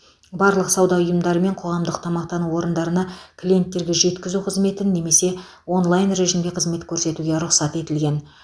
барлық сауда ұйымдары мен қоғамдық тамақтану орындарына клиенттерге жеткізу қызметін немесе онлайн режимде қызмет көрсетуге рұқсат етілген